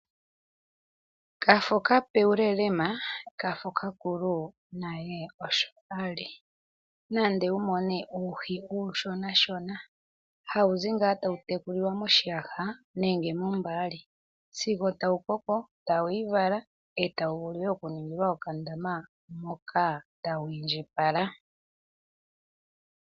Kafo kape wu lelema, kafo kakulu naye osho ali. Nande wu kale wuna uuhi uushonashona hawu zi ngaa tawu tekulilwa moshiyaha nenge mombaali, sigo tawu koko e tawu vulu okuningalwa okandaama tawu indjipala.